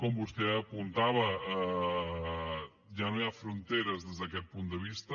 com vostè apuntava ja no hi ha fronteres des d’aquest punt de vista